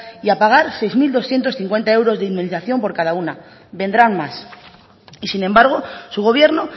y a pagar seis mil doscientos cincuenta euros de indemnización por cada una vendrán más y sin embargo su gobierno